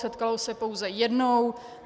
Setkalo se pouze jednou.